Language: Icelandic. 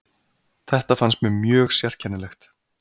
Þetta fannst mér mjög sérkennilegt.